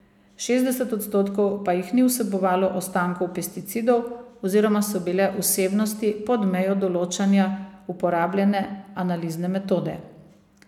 Šestdeset odstotkov pa jih ni vsebovalo ostankov pesticidov oziroma so bile vsebnosti pod mejo določanja uporabljene analizne metode.